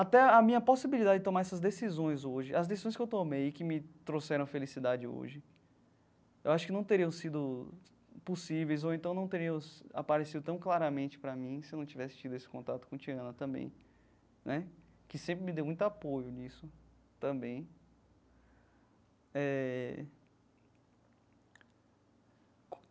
Até a minha possibilidade de tomar essas decisões hoje, as decisões que eu tomei e que me trouxeram felicidade hoje, eu acho que não teriam sido possíveis ou então não teriam aparecido tão claramente para mim se eu não tivesse tido esse contato com Tiana também né, que sempre me deu muito apoio nisso também eh.